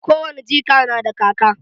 Ko wani jika na da kaka.